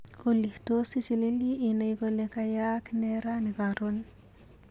Olly, tos ichilili inai kole kayaak nee rani karon.